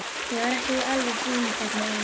Ég var ekki alveg búinn þarna inni.